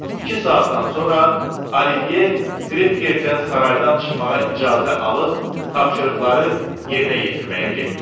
İki saatdan sonra Olivye Krevgerdən saraydan çıxmağa icazə alıb tapşırıqları yerinə yetirməyə getdi.